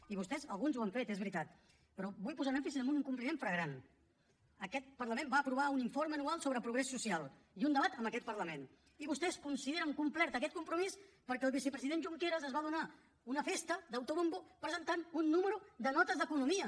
i vostès alguns els han fet és veritat però vull posar èmfasi en un incompliment flagrant aquest parlament va aprovar un informe anual sobre progrés social i un debat en aquest parlament i vostès consideren complert aquest compromís perquè el vicepresident junqueras es va donar una festa d’autobombo presentant un número de notes d’economia